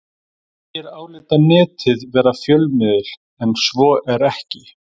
Margir álíta Netið vera fjölmiðil en svo er ekki.